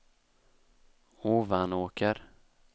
Ovanåker